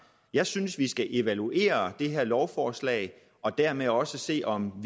jeg synes vi skal evaluere det her lovforslag og dermed også se om